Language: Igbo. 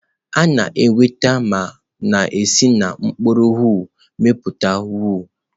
A na-enweta ma na-esi na mkpụrụ owu na-amịpụta owu.